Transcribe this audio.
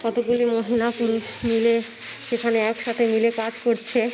কতগুলি মহিলা পুরুষ মিলে সেখানে একসাথে মিলে কাজ করছে।